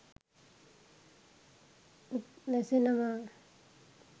උත් නැසෙනවා